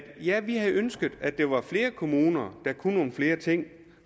ja vi havde ønsket at der var flere kommuner der kunne nogle flere ting